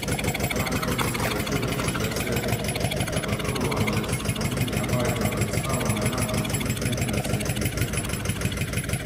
Franken je sporočil, da se zagotovo ne spominja vaj za predstavo na enak način, vendar se ji iskreno opravičuje.